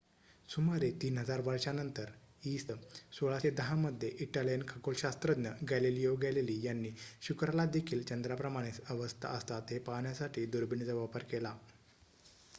सुमारे ३ हजार वर्षांनंतर इ.स. १६१० मध्ये इटालियन खगोलशास्त्रज्ञ गॅलिलिओ गॅलीली यांनी शुक्रालादेखील चंद्राप्रमाणेच अवस्था असतात हे पाहण्यासाठी दुर्बिणीचा वापर केला